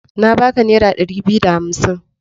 Na baka naira dari biyu da hamsin.